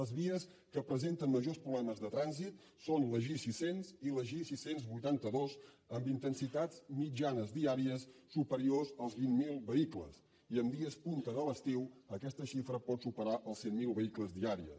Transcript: les vies que presenten majors problemes de trànsit són la gi sis cents i la gi sis cents i vuitanta dos amb intensitats mitjanes dià ries superiors als vint mil vehicles i en dies punta de l’estiu aquesta xifra pot superar els cent mil vehicles diaris